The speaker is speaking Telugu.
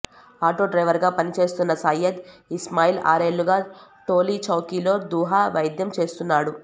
ఆటోడ్రైవర్ గా పనిచేస్తున్న సయ్యద్ ఇస్మాయిల్ ఆరేళ్లుగా టోలీచౌకీలో దుహ వైద్యం చేస్తున్నాడు